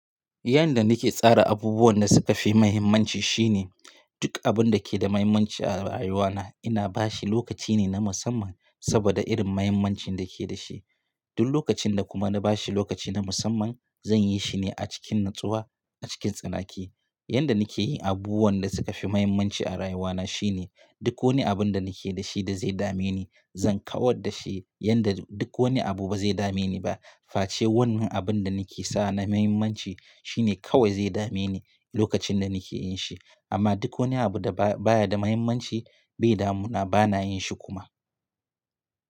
Yanda nake tsara abubuwan da suka fi mahimmanci shine duk abun da ke da mahimmanci a rayuwana ina bashi lokaci ne na musamman saboda irin mahimmancin da ke da shi. Duk lokacin da kuma na bashi lokaci na musamman zan yi shine a cikin natsuwa a cikin tsanaki. Yanda nakeyi abubuwan da suka fi mahimmanci a rayuwana shine duk wani abun da nake da shi da zai dame ni zan kawar da shi yanda duk wani abu ba zai dame ni ba. Face wannan abun da nake sa na mahimmanci shine kawai zai dame ni lokacin da nake yin shi amma duk wani abu da ba, baya da mahimmanci bai damu na bana yin shi kuma.